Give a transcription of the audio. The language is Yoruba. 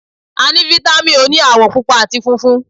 A ní fítámìn òní àwọ̀ Pupa àti funfun.